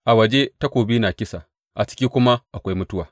A waje takobi na kisa; a ciki kuma akwai mutuwa.